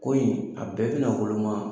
Ko in a bɛɛ bɛna woloman.